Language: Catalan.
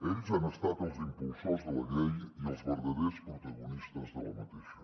ells han estat els impulsors de la llei i els verdaders protagonistes d’aquesta